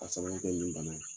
A sababuya kɛ nin bana ye